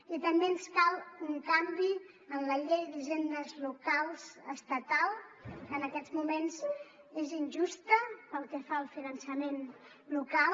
i també ens cal un canvi en la llei d’hisendes locals estatal que en aquests moments és injusta pel que fa al finançament local